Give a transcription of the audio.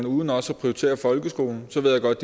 uden også at prioritere folkeskolen så ved jeg godt